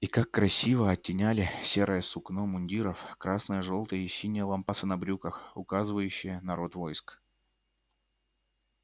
и как красиво оттеняли серое сукно мундиров красно-жёлтые и синие лампасы на брюках указывающие на род войск